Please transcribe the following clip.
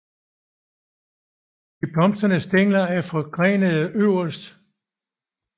De blomstrende stængler er forgrenede øverst